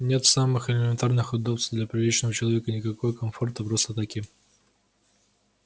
нет самых элементарных удобств для приличного человека никакого комфорта просто-таки